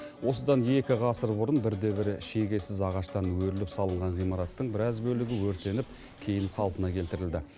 осыдан екі ғасыр бұрын бірде бір шегесіз ағаштан өріліп салынған ғимараттың біраз бөлігі өртеніп кейін қалпына келтірілді